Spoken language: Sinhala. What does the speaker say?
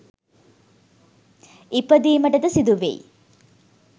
ඉපදීමටද සිදුවෙයි.